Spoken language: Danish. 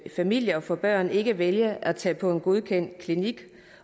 familie og få børn ikke vælger at tage på en godkendt klinik